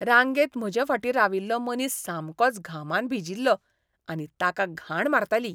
रांगेंत म्हजे फाटीं राविल्लो मनीस सामकोच घामान भिजील्लो आनी ताका घाण मारतली.